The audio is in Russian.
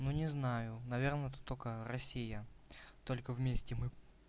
ну не знаю наверное тут только россия только вместе мы